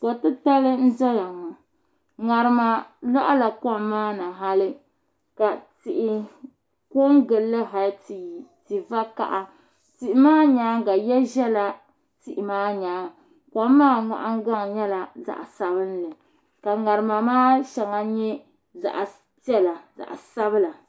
ko' titali n zaya ŋɔ ŋarima lɔhila kom maa ni hali ka tihi pe n-gili li hali ti yi ti' vakaha tihi maa nyaanga ya zala tihi maa nyaanga kom maa nahingbaŋ nyɛla zaɣ' sabinli ka ŋarima maa shɛŋa nyɛ zaɣ' piɛla zaɣ' sabila